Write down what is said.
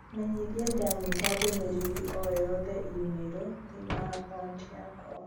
Menyithia ndanyita ndũmĩrĩri o yothe i-mīrū thiĩni wa akaunti yakwa